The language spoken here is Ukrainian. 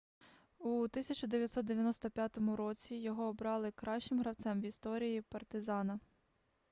у 1995 році його обрали кращим гравцем в історії партизана